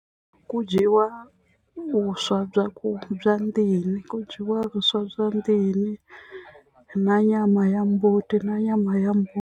Ku dyiwa vuswa bya ku bya ndini ku dyiwa vuswa bya ndini na nyama ya mbuti na nyama ya mbuti.